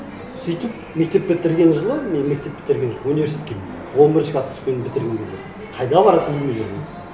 сөйтіп мектеп бітірген жылы мен мектеп бітірген жылы университетке он бірінші класс түскенмін бітірген кезде қайда баратынымды білмедім